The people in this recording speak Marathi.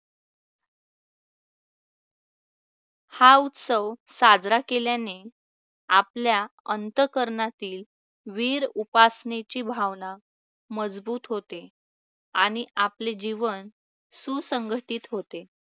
हा उत्सव साजरा केल्याने आपल्या अंतःकरणातील वीरउपासनेची भावना मजबूत होते आणि आपले जीवन सुसंघटित होते.